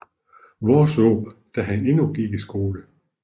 Worsaae da han endnu gik i skole